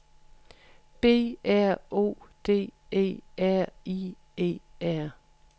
B R O D E R I E R